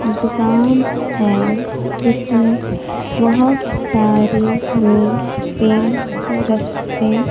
दुकान है जिसमें बहोत सारे लोग पेंट रखते--